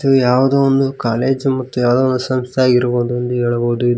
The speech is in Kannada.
ಇದು ಯಾವುದೋ ಒಂದು ಕಾಲೇಜು ಮತ್ತು ಯಾವುದೋ ಒಂದು ಸಂಸ್ಥೆ ಆಗಿರಬಹುದು ಅಂತ ಹೇಳಬಹುದು ಇದು--